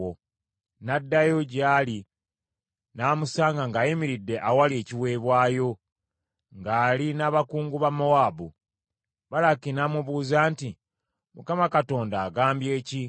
N’addayo gy’ali n’amusanga ng’ayimiridde awali ekiweebwayo, ng’ali n’abakungu ba Mowaabu. Balaki n’amubuuza nti, “ Mukama Katonda agambye ki?”